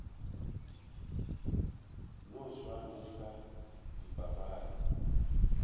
no swana le ka dipapading